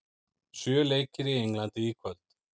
Sjö leikir í Englandi í kvöld